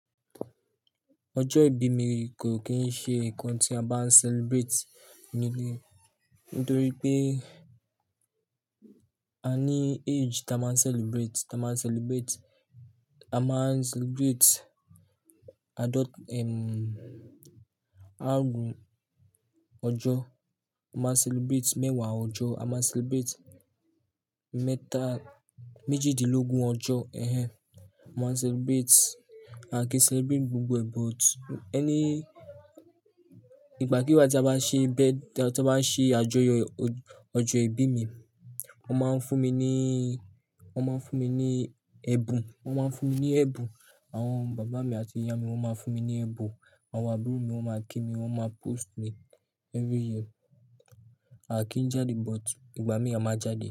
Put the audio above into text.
Ọjọ́ ìbí mi kò kí ń ṣe nǹkan tí a bá ń celebrate nítorí pé a ní age tí a máa ń celebrate. A máa ń celebrate adult ọjọ́, a máa ń celebrate mẹ́wàá ọjọ́, a máa ń celebrate mẹ́ta méjìdínlógún ọjọ́, ẹhẹń, a máa ń celebrate. A kìí celebrate gbogbo ẹ but ẹni-- ìgbàkígbà tí a bá ṣe, tí a bá n ṣe àjọyọ̀ ọjọ́ ìbí mi, wọ́n máa ń fún mi ní, wọ́n máa ń fún mi ní ẹbun, wọ́n máa ń fún mi ní ẹ̀bùn. Àwọn bàbá mi àti ìyá mi wọ́n máa fún mi ní ẹ̀bùn. Àwọn àbúrò mi wọ́n máa kí mi, wọ́n máa post mi every year. A kì í jáde but ìgbà míì a máa jáde.